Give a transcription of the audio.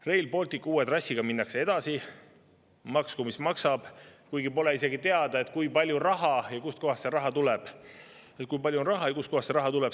Rail Balticu uue trassiga minnakse edasi, maksku mis maksab, kuigi pole isegi teada, kui palju raha ja kust kohast see raha tuleb.